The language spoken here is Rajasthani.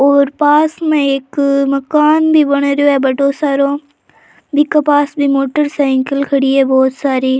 और पास में एक मकान भी बन रेहो है बड़ो सारो बीके पास भी मोटरसाइकल खड़ी है बहुत सारी।